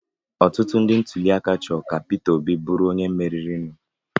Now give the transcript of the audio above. Ọtụtụ ndị ntụliaka chọrọ ka Peter Obi bụrụ onye meriri nụ.